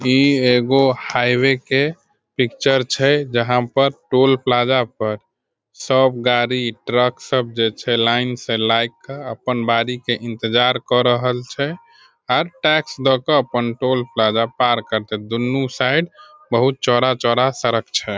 ई एगो हाईवे के पिक्चर छै जहां पर टोल प्लाजा पर सब गारी ट्रक सब जई छै लाइन से लाइक के अपन बारी के इंतजार क रहल छै अर टैक्स द क अपन टोल प्लाजा पार करते दूनू साइड बहुत चौड़ा-चौड़ा सरक छै।